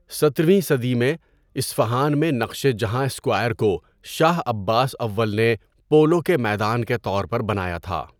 سترویں صدی میں، اصفہان میں نقشِ جہاں اسکوائر کو شاہ عباس اول نے پولو کے میدان کے طور پر بنایا تھا۔